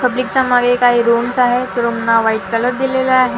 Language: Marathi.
पब्लिकच्या मागे काही रूम्स आहेत रूमना व्हाईट कलर दिलेला आहे.